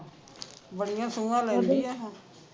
ਬੜੀਆਂ ਸੁਆਂ ਹੁਣ